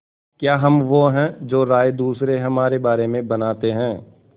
क्या हम वो हैं जो राय दूसरे हमारे बारे में बनाते हैं